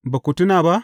Ba ku tuna ba?